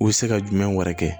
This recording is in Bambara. U bɛ se ka jumɛn wɛrɛ kɛ